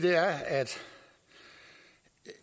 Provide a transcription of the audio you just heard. og